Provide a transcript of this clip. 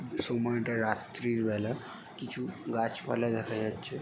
সময় তা রাতির বেলা কিছু গাছ পালা দেখা যাচ্ছে ।